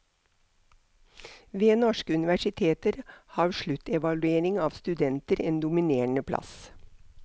Ved norske universiteter har sluttevaluering av studenter en dominerende plass.